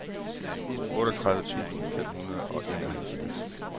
otteogtredive tusind fem hundrede og enoghalvfjerds